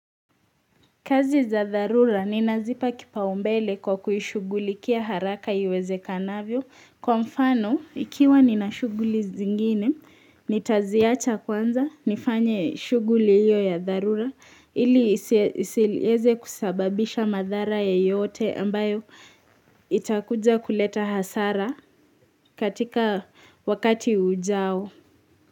Kazi za dharura ninazipa kipaumbele kwa kuhishugulikia haraka iweze kanavyo kwa mfano ikiwa ninashuguli zingine nitaziacha kwanza nifanye shuguli hiyo ya dharura ili isilieze kusababisha madhara yeyote ambayo itakuja kuleta hasara katika wakati ujao.